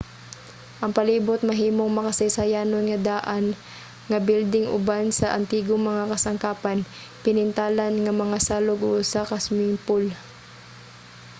ang palibot mahimong makasaysayanon nga daan nga bilding uban sa antigong mga kasangkapan pinintalan nga mga salog ug usa ka swimming pool